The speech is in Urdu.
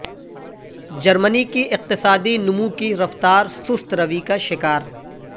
جرمنی کی اقتصادی نمو کی رفتار سست روی کا شکار